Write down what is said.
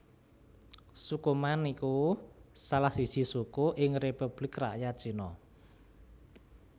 Suku Man iku salah siji suku ing Republik Rakyat Cina